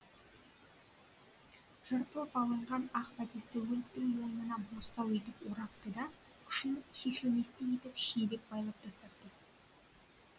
жыртылып алынған ақ бәтесті өліктің мойнына бостау етіп орапты да ұшын шешілместей етіп шиелеп байлап тастапты